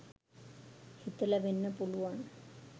හිතලා වෙන්න පුළුවන්.